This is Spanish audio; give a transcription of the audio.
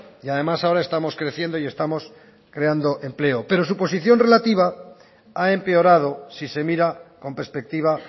y además ahora estamos creciendo y estamos creando empleo pero su posición relativa ha empeorado si se mira con perspectiva